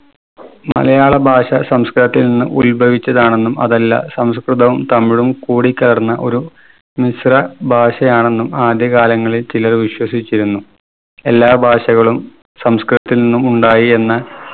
മലയാള ഭാഷ സംസ്‌കൃതത്തിൽ നിന്ന് ഉത്ഭവിച്ചതാണെന്നും അതല്ല സംസ്കൃതവും തമിഴും കൂടിക്കലർന്ന ഒരു മിശ്ര ഭാഷയാണെന്നും ആദ്യകാലങ്ങളിൽ ചിലർ വിശ്വസിച്ചിരുന്നു. എല്ലാ ഭാഷകളും സംസ്‌കൃതത്തിൽ നിന്നും ഉണ്ടായി എന്ന്